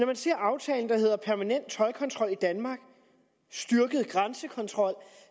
man ser aftalen der hedder permanent toldkontrol i danmark styrket grænsekontrol